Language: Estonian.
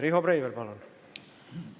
Riho Breivel, palun!